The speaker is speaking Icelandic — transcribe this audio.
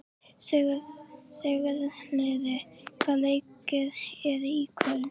Sigurliði, hvaða leikir eru í kvöld?